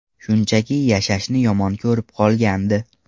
Shunchaki yashashni yomon ko‘rib qolgandi.